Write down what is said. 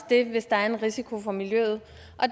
det hvis der er en risiko for miljøet